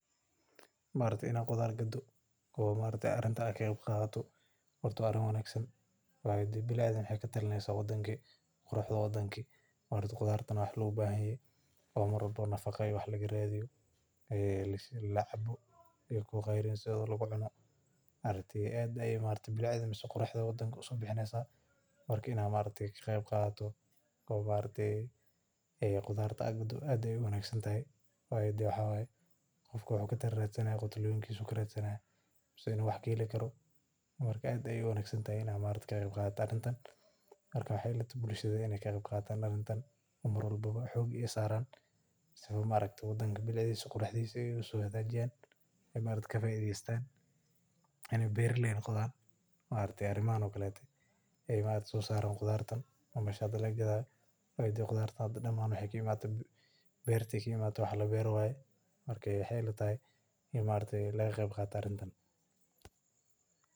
In la qurxiyo qado waa arrin wanaagsan. Waxay ka tarjumaysaa quruxda waddanka iyo bilicda. Qudradda loo baahan yahay nafaco ayaa laga helaa, waxaana lagu cunaa si caafimaad leh. Bilicda waddanka ayey u soo baxinaysaa. Inaad ka qayb qaadato oo aad qudaarto waa arrin aad u wanaagsan. Qof qudaar ku nool yahay wuxuu ka faa’iidaysanayaa bulshadana wuu ka qayb qaadanayaa, isagoo xoogga saaraya quruxda iyo bilicda waddanka. Waa in laga faa’iidaysto qudaar kasoo baxda beerta, waana muhiim in laga qayb qaato arrintan.